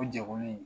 O jɛkulu in